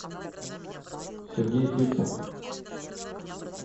сергей фирсов